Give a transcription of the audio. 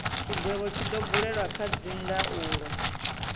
tshigwevho tshi do buliwa kha dzindaulo